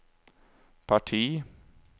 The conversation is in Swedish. parti